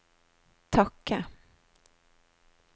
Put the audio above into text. takke